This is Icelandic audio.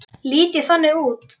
Lít ég þannig út?